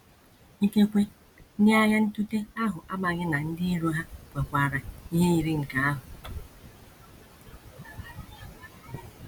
Ikekwe, ndị agha ntụte ahụ amaghị na ndị iro ha kwekwaara ihe yiri nke ahụ.